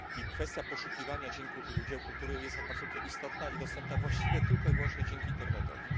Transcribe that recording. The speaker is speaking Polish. i kwestia poszukiwania dzieł kultury jest absolutnie istotna i dostępna właściwie tylko i wyłącznie dzięki internetowi.